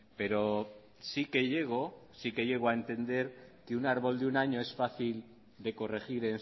pero sí que llego sí que llego a entender que un árbol de un año es fácil de corregir